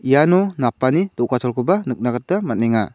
iano napani do·gacholkoba nikna gita man·enga.